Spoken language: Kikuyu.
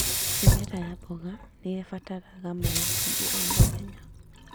Mĩmera ya mboga nĩĩbataraga maĩ maingĩ o mũthenya